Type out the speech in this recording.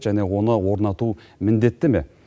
және оны орнату міндетті ме